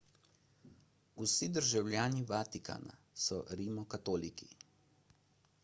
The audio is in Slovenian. vsi državljani vatikana so rimokatoliki